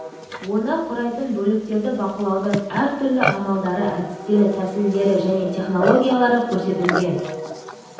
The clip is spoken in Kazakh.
оны құрайтын бөліктерді бақылаудың әртүрлі амалдары әдістері тәсілдері және технологиялары көрсетілген